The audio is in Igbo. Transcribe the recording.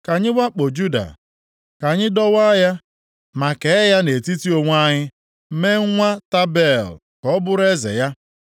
“Ka anyị wakpo Juda, ka anyị dọwaa ya ma kee ya nʼetiti onwe anyị, mee nwa Tabeel ka ọ bụrụ eze ya.”